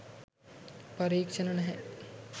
පරීක්ෂණ නැහැ